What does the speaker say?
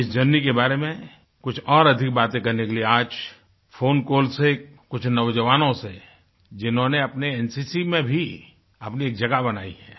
इस जर्नी के बारे में कुछ और अधिक बातें करने के लिए आज फ़ोन कॉल्स से कुछ नौजवानों से जिन्होंने अपने एनसीसी में भी अपनी जगह बनायी है